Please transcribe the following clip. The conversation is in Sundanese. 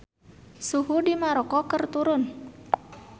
Suhu di Maroko keur turun